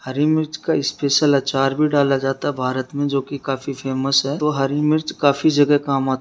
हरी मिर्च का स्पेशल अचार भी डाला जाता है भारत मे जो की काफी फेमस है तो हरी मिर्च काफी जगह काम आ --